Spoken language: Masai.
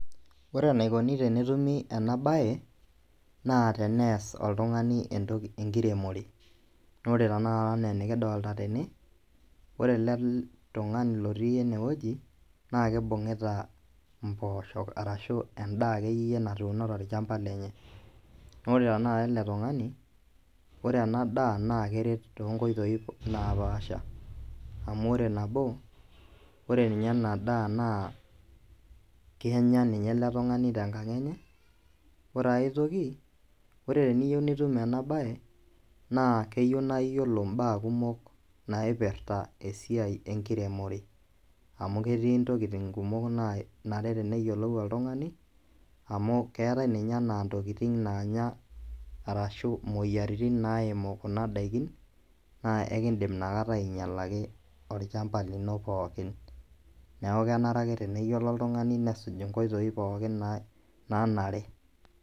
Ore eneikoni tenetumi ena baye naa teneas oltung'ani enkiremore ore enaa enikidolita tene ore ele tung'ani otii enewueji naa keibung'ita impoosok ashua endaa akeyie natuuno tolchamba lenye naa ore tenekara ele tung'ani ore. Ena daa naa keret toonkoitoi naaapasha amu ore nabo ore ena daa naa kenya ninye tenkang enye ore aitoki ore teniyieu niyiolou ena baaye naa keyieu niyiolou imbaa kumok naipirta enkiremore amu ketii intokitin naanare neyeiolpu oltung'ani amu ketii ninye imoyiaritin naimu kuna daiki naa enkindim nikinyialaki olchamba lino pooki neeku keyieu ake nesuj inkoitoi pookin naanare .